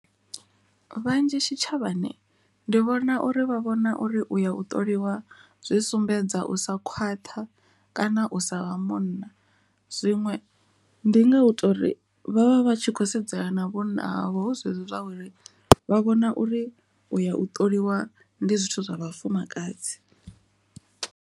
Vhanzhi tshitshavhani ndi vhona uri vha vhona uri uya u ṱoliwa zwi sumbedza u sa khwaṱha kana u sa vha munna, zwiṅwe ndi nga ita uri vhavha vhatshi kho sedzana na vhunna havho hu zwezwo zwa uri vha vhona uri u ya u ṱoliwa ndi zwithu zwa vhafumakadzi.